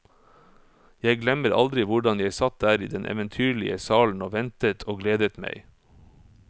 Jeg glemmer aldri hvordan jeg satt der i den eventyrlige salen og ventet og gledet meg.